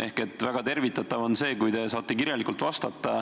Ehk väga tervitatav on see, kui te saate mulle kirjalikult vastata,